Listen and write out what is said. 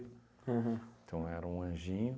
Aham. Então, era um anjinho.